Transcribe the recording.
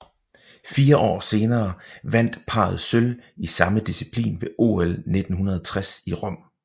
Fire år senere vandt parret sølv i samme disciplin ved OL 1960 i Rom